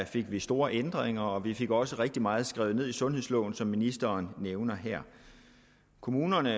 fik vi store ændringer og vi fik også rigtig meget skrevet ned i sundhedsloven som ministeren nævner her kommunerne